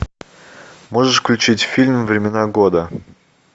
можешь включить фильм времена года